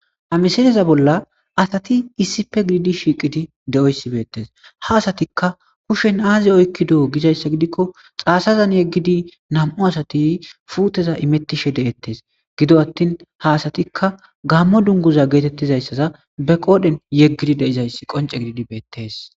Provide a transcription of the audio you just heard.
Ha misileza bola asati issippe gidid shiqid dizoyisa betees ha asatikka kushshen azi oyikidi gizayisa gidikko xasazan yegid puteza imetishe detees gido atin ha asatikka Gamo duniguza getetizayisa be qodhen yegid dizayisi qoncce gidid beteesi